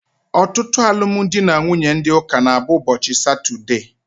Ọtụtụ alụmdi na nwunye ndị ụka na abụ ụbọchị satude